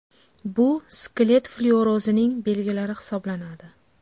Bu – skelet flyuorozining belgilari hisoblanadi.